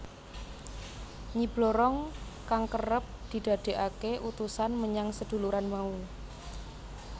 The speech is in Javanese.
Nyi Blorong kang kerep didadekake utusan menyang seduluran mau